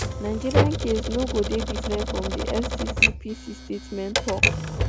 nigeria case no go dey different di fccpc statement tok